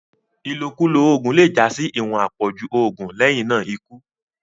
ilokulo oògùn le já sí iwọn apọju oògùn lẹhinna ikú